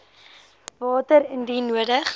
water indien nodig